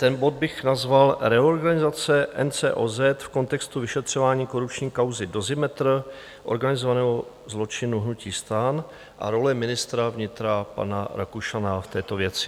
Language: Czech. Ten bod bych nazval Reorganizace NCOZ v kontextu vyšetřování korupční kauzy Dozimetr organizovaného zločinu hnutí STAN a role ministra vnitra pana Rakušana v této věci.